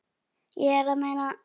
Ég er að meina.